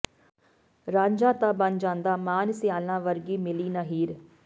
ਰਾਂਝਾ ਤਾਂ ਬਣ ਜਾਂਦਾ ਮਾਨ ਸਿਆਲਾਂ ਵਰਗੀ ਮਿਲੀ ਨਾ ਹੀਰ